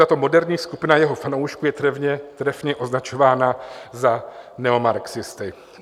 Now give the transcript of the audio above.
Tato moderní skupina jeho fanoušků je trefně označována za neomarxisty.